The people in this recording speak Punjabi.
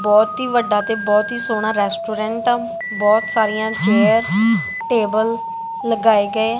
ਬਹੁਤ ਹੀ ਵੱਡਾ ਤੇ ਬਹੁਤ ਹੀ ਸੋਹਣਾ ਰੈਸਟੋਰੈਂਟ ਆ ਬਹੁਤ ਸਾਰੀਆਂ ਚੇਅਰ ਟੇਬਲ ਲਗਾਏ ਗਏ--